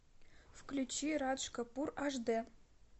включи радж капур аш дэ